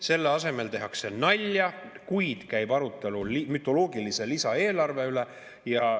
Selle asemel tehakse nalja, kuid käib arutelu mütoloogilise lisaeelarve üle.